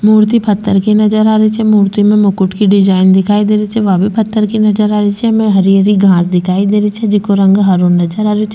मूर्ति पत्थर की नजर आ रही छे मूर्ति में मुकुट की डिजाइन दिखाई दे रही छे वा भी पत्थर की नजर आ रही छे एमे हरी हरी घास दिखाई दे रही छे जेको रंग हरो नजर आ रहियो छे।